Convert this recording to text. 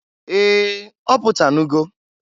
Ee! Ọ pụtanụgo.